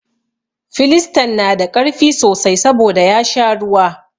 Filistan na da ƙarfi sosai saboda ya sha ruwa.